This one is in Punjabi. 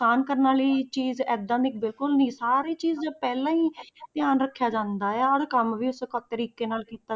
ਨੁਕਸਾਨ ਕਰਨ ਵਾਲੀ ਚੀਜ਼ ਏਦਾਂ ਦੀ ਬਿਲਕੁਲ ਨੀ, ਸਾਰੀ ਚੀਜ਼ ਪਹਿਲਾਂ ਹੀ ਧਿਆਨ ਰੱਖਿਆ ਜਾਂਦਾ ਆ ਹਰ ਕੰਮ ਵੀ ਉਸੇ ਤਰੀਕੇ ਨਾਲ ਕੀਤਾ।